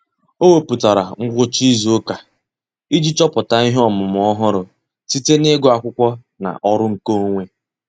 Ọ́ wèpụ̀tárà ngwucha ìzù ụ́kà iji chọ́pụ́tá ihe ọ́mụ́ma ọ́hụ́rụ́ site n’ị́gụ́ ákwụ́kwọ́ na ọ́rụ́ nkeonwe.